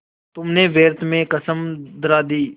तुमने व्यर्थ में कसम धरा दी